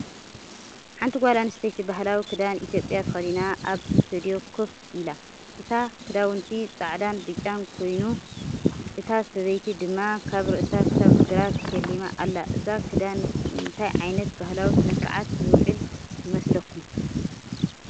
ሓንቲ ጓል ኣንስተይቲ ባህላዊ ክዳን ኢትዮጵያ ተኸዲና ኣብ ስቱድዮ ኮፍ ኢላ። እቲ ክዳውንቲ ጻዕዳን ብጫን ኮይኑ፡ እታ ሰበይቲ ድማ ካብ ርእሳ ክሳብ እግራ ተሸሊማ ኣላ። እዚ ክዳን ንእንታይ ዓይነት ባህላዊ ስነ-ስርዓት ዝውዕል ይመስለኩም?